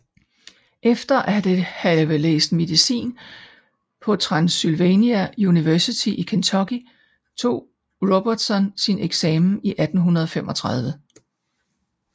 Efter at have læst medicin på Transylvania University i Kentucky tog Robertson sin eksamen i 1835